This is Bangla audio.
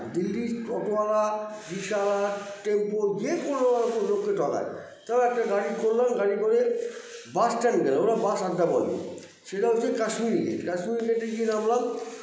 দিল্লির auto আলা rickshaw আলা tempo যেকোনো লোককে ঠকায় তারপর একটা গাড়ি করলাম গাড়ি করে bus stand -এ ওরা bus আড্ডা বলে সেটা হচ্ছে কাশ্মীরে গিয়ে কাশ্মীর gate -এ গিয়ে নামলাম